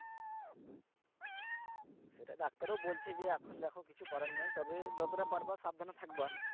সেটা ডাক্তারও বলছে যে এখন দেখো কিছু করার নেই তবে যতটা পারবা সাবধানে থাকবা